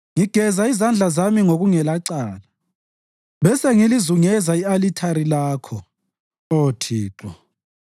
Ngigeza izandla zami ngokungelacala, bese ngilizungeza i-alithari Lakho, Oh Thixo,